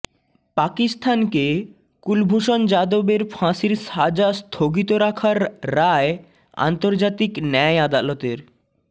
পাকিস্তানকে কুলভূষণ যাদবের ফাঁসির সাজা স্থগিত রাখার রায় আন্তর্জাতিক ন্যায় আদালতের